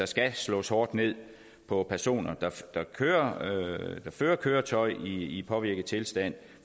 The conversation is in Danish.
skal slås hårdt ned på personer der fører køretøj i påvirket tilstand